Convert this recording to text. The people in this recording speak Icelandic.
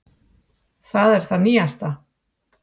Það er það nýjasta.